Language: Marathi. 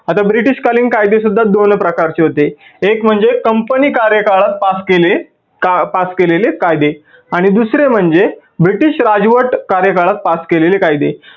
आता ब्रिटीश कालीन कायदे सुद्धा दोन प्रकारचे होते. एक म्हणजे company कार्यकाळात pass केलेले कायदे आणि दुसरे म्हणजे ब्रिटीश राजवट कार्य काळात pass केलेले कायदे.